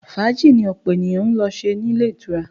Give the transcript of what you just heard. Fàájì ni ọ̀pọ̀ ènìyàn ń lọ ṣe nílé ìtura